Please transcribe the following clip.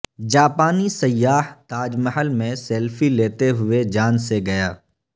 جاپانی سیاح تاج محل میں سیلفی لیتے ہوئے جان سے گیا